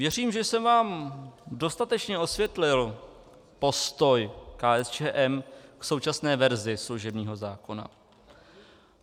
Věřím, že jsem vám dostatečně osvětlil postoj KSČM k současné verzi služebního zákona.